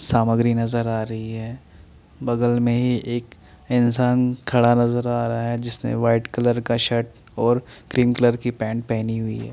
सामग्री नजर आ रही है बगल में ही एक इंसान खड़ा नजर आ रहा है जिसने वाइट कलर का शर्ट और क्रीम कलर की पैंट पहनी हुई है।